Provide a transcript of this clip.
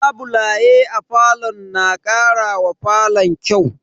Labulaye a falo na karawa falon kyau.